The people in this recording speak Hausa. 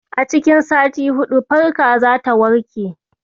A cikin sati huɗu, farka zata warke.